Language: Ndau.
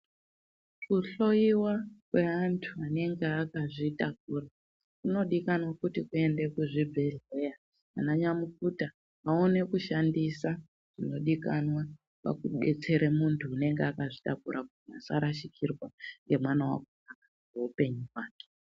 Kuhloiwa kweantu anenge akazvitakura kunodikanwa kuti kuende kuzvibhehleya ananyamukuta vaone kushandisa zvinodikanwa pakubetsere muntu unenge akazvitakura kuti asharashikirwa ngemwana wakona ngeupenyu hwake.